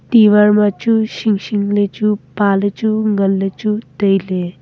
diwar ma chu singsing le chu pa le chu ngan le chu taile.